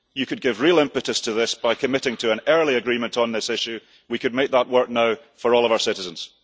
You could give real impetus to this by committing to an early agreement on this issue, and we could make that work now for all of our citizens.